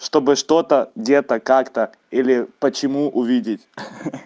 чтобы что-то где-то как-то или почему увидеть ха-ха-ха